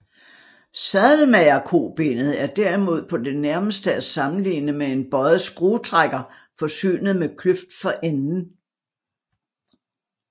Sadelmagerkobenet er derimod på det nærmeste at sammenligne med en bøjet skruetrækker forsynet med kløft for enden